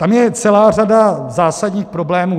Tam je celá řada zásadních problémů.